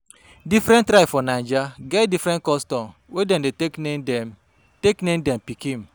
Different tribe for Naija get different custom wey dem dey take name dem take name dem pikin.